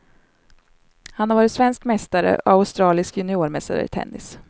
Han har varit svensk mästare och australisk juniormästare i tennis.